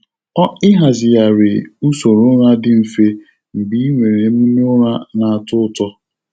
Ịhazigharị usoro ụra dị mfe mgbe ị nwere emume ụra na-atọ ụtọ.